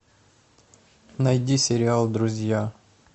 найди сериал друзья